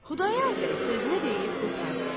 Xudayar bəy sözünü deyib qurtardı.